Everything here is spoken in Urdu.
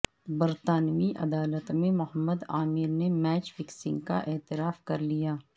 برطانوی عدالت میں محمد عامر نےمیچ فکسنگ کا اعتراف کر لیا